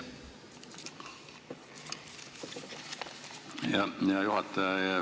Aitäh, hea juhataja!